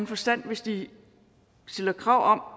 forstand hvis de stiller krav